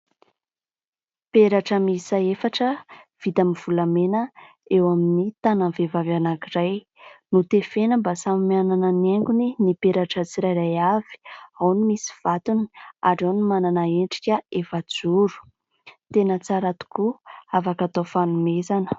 Peratra miisa efatra vita amin'ny volamena eo amin'ny tananan'ny vehivavy anankiray notefena mba samy mianana niaingony ny peratra tsirairay avy, ao ny misy vatony ary ao no manana endrika efajoro. Tena tsara tokoa afaka atao fanomezana.